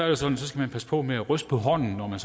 at så skal man passe på med at ryste på hånden når man